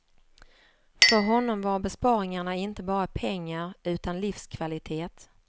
För honom var besparingarna inte bara pengar, utan livskvalitet.